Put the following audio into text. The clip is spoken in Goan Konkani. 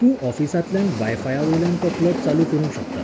तूं ऑफिसांतल्यान वायफायावयल्यान तो प्लग चालू करूंक शकता.